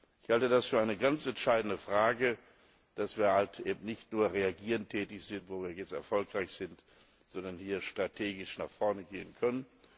Ich halte das für eine ganz entscheidende Frage, dass wir eben nicht nur reaktiv tätig sind, wo wir jetzt erfolgreich sind, sondern hier strategisch nach vorne gehen können.